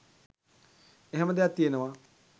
එහෙම දෙයක් තියෙනවා